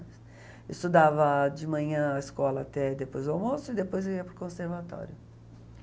Eu estudava de manhã a escola até depois o almoço e depois eu ia para o conservatório.